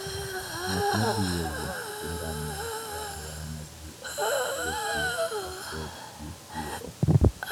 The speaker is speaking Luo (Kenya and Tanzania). Ng'at ma thi e wuoth gi ngamia e alwora ma ji ok wuothie, ok bed gi luoro.